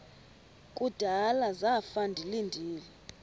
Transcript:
kudala zafa ndilinde